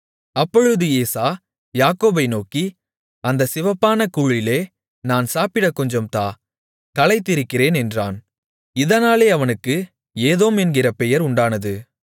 அப்பொழுது ஏசா யாக்கோபை நோக்கி அந்தச் சிவப்பான கூழிலே நான் சாப்பிடக் கொஞ்சம் தா களைத்திருக்கிறேன் என்றான் இதனாலே அவனுக்கு ஏதோம் என்கிற பெயர் உண்டானது